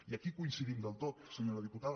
i aquí coincidim del tot senyora diputada